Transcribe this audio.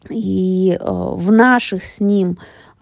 и в наших с ним